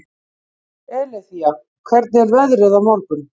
Eileiþía, hvernig er veðrið á morgun?